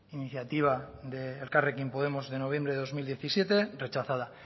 iniciativa de elkarrekin podemos de noviembre de dos mil diecisiete rechazada